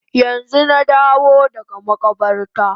Yanzu na dawo daga makabarta